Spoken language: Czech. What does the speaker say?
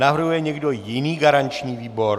Navrhuje někdo jiný garanční výbor?